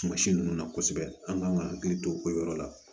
Tuma si ninnu na kosɛbɛ an kan ka hakili to o yɔrɔ la